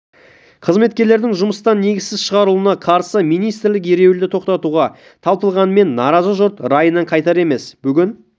қызметкерлердің жұмыстан негізсіз шығарылуына қарсы министрлік ереуілді тоқтатуға талпынғанымен наразы жұрт райынан қайтар емес бүгін